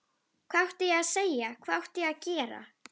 Hvað átti ég að segja, hvað átti ég að gera?